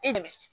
E dɛmɛ